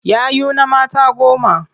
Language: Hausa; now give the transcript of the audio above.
Yayuna mata goma.